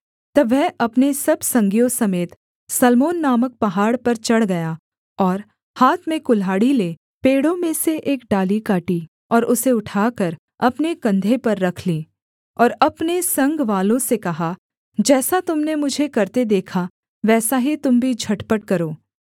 तब वह अपने सब संगियों समेत सल्मोन नामक पहाड़ पर चढ़ गया और हाथ में कुल्हाड़ी ले पेड़ों में से एक डाली काटी और उसे उठाकर अपने कंधे पर रख ली और अपने संगवालों से कहा जैसा तुम ने मुझे करते देखा वैसा ही तुम भी झटपट करो